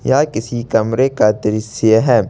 यह किसी कमरे का दृश्य है।